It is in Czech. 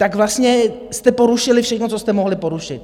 Tak vlastně jste porušili všechno, co jste mohli porušit.